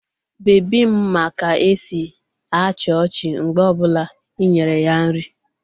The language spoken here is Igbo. Bebi m ma ka-esi achi ochi mgbe o bula inyere ya nri.